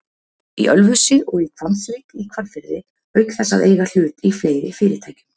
í Ölfusi og í Hvammsvík í Hvalfirði auk þess að eiga hlut í fleiri fyrirtækjum.